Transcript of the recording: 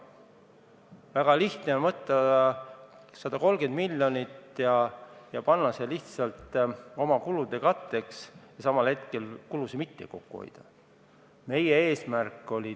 Väga lihtne on võtta 130 miljonit ja kasutada see lihtsalt oma kulude katteks ja samal ajal kulusid mitte kokku hoida.